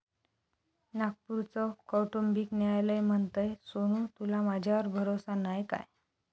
नागपूरचं कौटुंबिक न्यायालय म्हणतंय, सोनू तुला माझ्यावर भरोसा नाय काय?